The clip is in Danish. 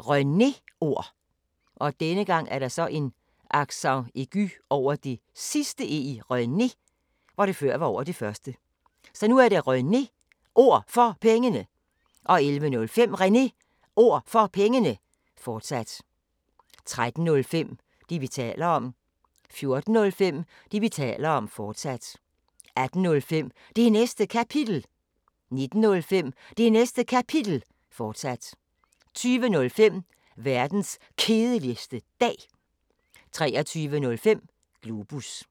René Ord For Pengene 11:05: René Ord For Pengene, fortsat 13:05: Det, vi taler om 14:05: Det, vi taler om, fortsat 18:05: Det Næste Kapitel 19:05: Det Næste Kapitel, fortsat 20:05: Verdens Kedeligste Dag 23:05: Globus